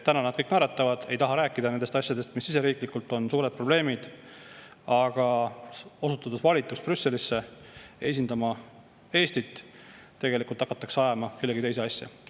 Täna nad kõik naeratavad, ei taha rääkida nendest asjadest, mis siseriiklikult on suured probleemid, aga osutudes valituks Brüsselisse esindama Eestit, hakatakse tegelikult ajama kellegi teise asja.